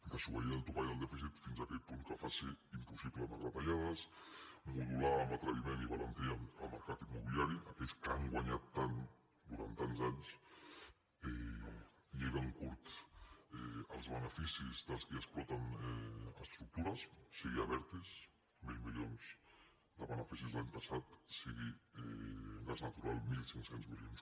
desobeir el topall del dèficit fins a aquell punt que faci impossible més retallades modular amb atreviment i valentia el mercat immobiliari aquells que han guanyat tant durant tants anys lligant curt els beneficis dels qui exploten estructures sigui abertis mil milions de beneficis l’any passat sigui gas natural mil cinc cents milions